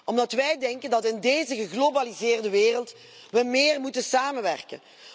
Omdat wij denken dat we in deze geglobaliseerde wereld meer moeten samenwerken.